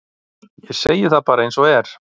ég segi það bara eins og er